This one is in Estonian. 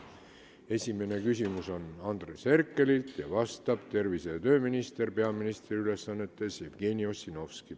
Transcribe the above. Esimene küsimus on Andres Herkelilt ja vastab peaministri ülesannetes olev tervise- ja tööminister Jevgeni Ossinovski.